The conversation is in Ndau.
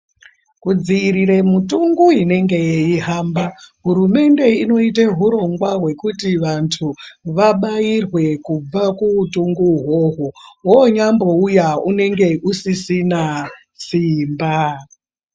Kudzirire mutungu inenge yeyihamba, hurumende inoyite hurongwa wekuti vantu vabayirwe kubva kuwutungu wowo. Wonyambowuya unenge usisina simba.